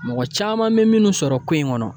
Mɔgɔ caman be minnu sɔrɔ ko in ŋɔnɔ